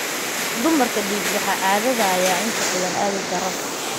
Dumarka, dhiigbaxa caadada ayaa inta badan aad u daran.